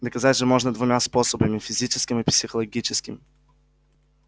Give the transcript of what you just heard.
доказать же можно двумя способами физическим и психологическим